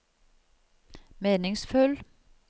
meningsfull